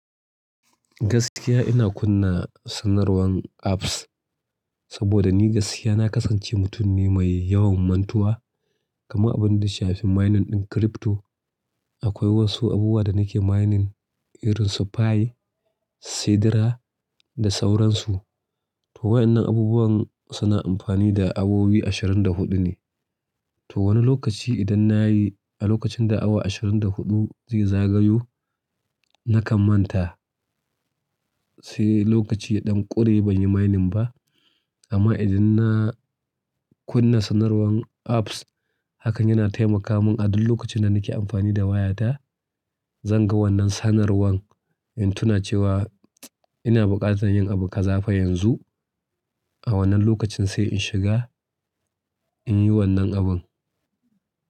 Gaskiya ina kunna sanarwan apps, saboda ni gaskiya na kasance mutum ne mai yawan mantuwa. Kama abin da shafi mining ɗin crypto, akwai wasu abubuwa da nake mining irin su Pi, sidra da sauransu. To waɗannan abubuwan suna amfani da awowi ashirin da huɗu ne. To wani lokaci idan na yi a lokacin da awa ashirin da huɗu zai zagayo, nakan manta. Sai lokaci ya ɗan ƙure banyi mining ba. Amma idan na kunna sanarwan apps, hakan yana taimaka mun a duk lokacin da nake amfani da wayata, zan ga wannan sanarwan in tuna cewa ina buƙatar yin abu ƙazafa yanzu. A wannan lokacin sai in shiga in yi wannan abun.